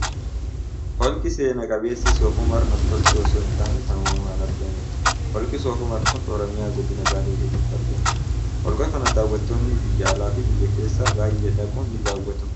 Holqi seena qabeessi soof umar namtolchee osoo hin taane kan uumamaan argamuudha . Holqi soof umar kun Oromiyaa godina Baalee keessatti argama . Holqa kana daawwattoonni biyya alaa fi biyya keessaa baay'een dhaquun ni daawwatu.